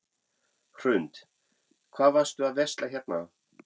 Hrund: Hvað varst þú að versla hérna?